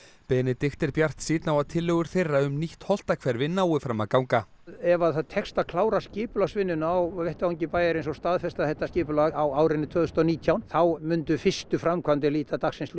Benedikt er bjartsýnn á að tillögur þeirra um nýtt Holtahverfi nái fram að ganga ef að það tekst að klára skipulagsvinnuna á vettvangi bæjarins og staðfesta þetta skipulag á árinu tvö þúsund og nítján þá myndu fyrstu framkvæmdir líta dagsins ljós